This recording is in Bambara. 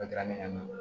A kɛra ne bolo